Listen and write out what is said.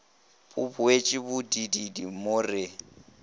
bo boetše bobididi mo re